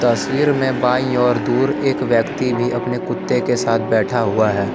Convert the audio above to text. तस्वीर में बाईं और दूर एक व्यक्ति भी अपने कुत्ते के साथ बैठा हुआ है।